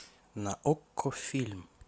на окко фильм